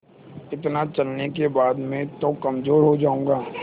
इतना चलने के बाद मैं तो कमज़ोर हो जाऊँगा